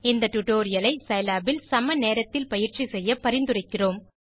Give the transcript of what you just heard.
இந்த டியூட்டோரியல் ஐ சிலாப் இல் சம நேரத்தில் பயிற்சி செய்ய பரிந்துரைக்கிறேன்